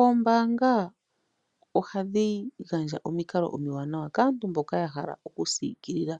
Oombaanga oha dhi gandja omikalo omiwanawa kaantu mboka ya hala oku siikilila